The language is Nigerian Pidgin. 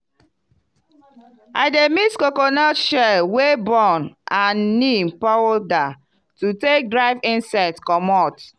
i dey mix coconut shell wey burn and neem powder to take drive insect comot.